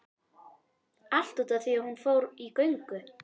Allt út af því að hún fór í göngu